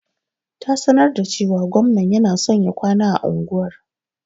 Ta sanar da cewa gwamnan yana son ya kwana a unguwar.